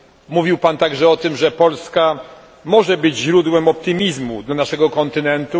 Mówił Pan także o tym, że Polska może być źródłem optymizmu dla naszego kontynentu.